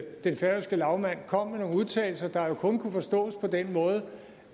den færøske lagmand kom med nogle udtalelser der jo kun kunne forstås på den måde at